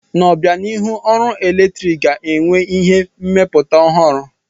N'obianihu, ọrụ eletrik ga-enwe ihe mmepụta ọhụrụ.